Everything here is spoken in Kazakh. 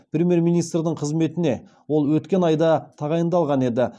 премьер министрдің қызметіне ол өткен айда тағайындалған еді